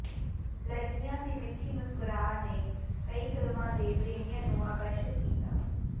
ਲੜਕੀਆਂ ਦੀ ਮਿੱਠੀ ਮੁਸਕਰਾ ਨੇ ਕਈ ਫ਼ਿਲਮਾਂ ਦੇ ਪ੍ਰੇਮੀਆਂ ਨੂੰ ਆਕਰਸ਼ਤ ਕੀਤਾ